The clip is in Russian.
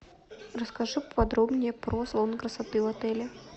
расскажи подробнее про салон красоты в отеле